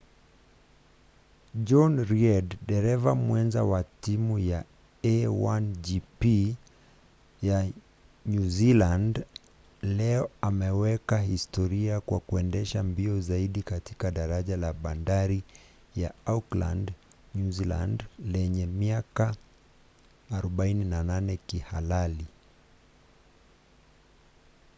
johnny reid dereva mwenza wa timu ya a1gp ya nyuzilandi leo ameweka historia kwa kuendesha mbio zaidi katika daraja la bandari ya auckland nyuzilandi lenye miaka 48 kihalali